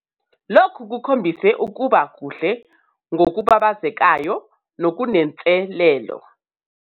Lokhu kukhombise ukuba kuhle ngokubabazekayo nokunenselelo!